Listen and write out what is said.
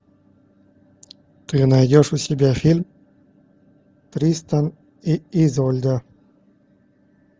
ты найдешь у себя фильм тристан и изольда